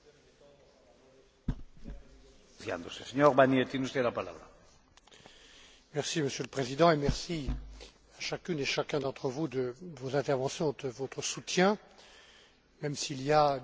Monsieur le Président, merci à chacune et chacun d'entre vous de vos interventions et de votre soutien, même s'il y a des questions ou des réserves légitimes sur ce projet d'observatoire.